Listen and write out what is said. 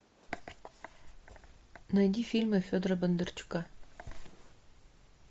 найди фильмы федора бондарчука